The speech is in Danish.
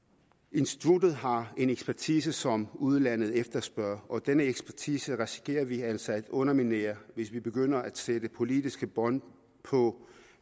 instituttet har en ekspertise som udlandet efterspørger og denne ekspertise risikerer vi altså at underminere hvis vi begynder at sætte politiske bånd på